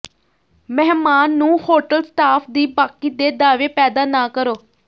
ਮਹਿਮਾਨ ਨੂੰ hotel staff ਦੀ ਬਾਕੀ ਦੇ ਦਾਅਵੇ ਪੈਦਾ ਨਾ ਕਰੋ